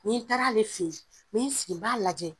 N'i n taar'ale fe yen n be n sigi n b'a lajɛ.